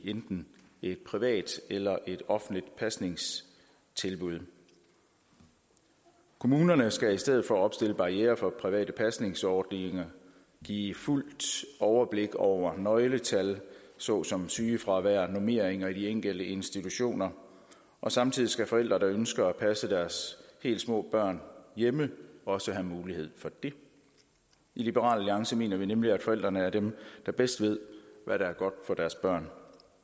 enten i et privat eller i et offentligt pasningstilbud kommunerne skal i stedet for at opstille barrierer for private pasningsordninger give fuldt overblik over nøgletal såsom sygefravær og normeringer i de enkelte institutioner og samtidig skal forældre der ønsker at passe deres helt små børn hjemme også have mulighed for det i liberal alliance mener vi nemlig at forældrene er dem der bedst ved hvad der er godt for deres børn